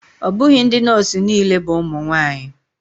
Ọ bụghị ndị nọọsụ niile bụ ụmụ nwanyị.